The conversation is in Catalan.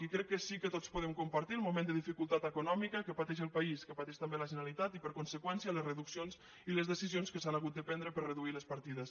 i crec que sí que tots podem compartir el moment de dificultat econòmica que pateix el país que pateix també la generalitat i per conseqüència les reduccions i les decisions que s’han hagut de prendre per a reduir les partides